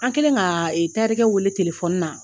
An kɛlen ka tayɛrikɛ wele telefɔni na